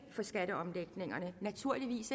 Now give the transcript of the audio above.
for skatteomlægningerne naturligvis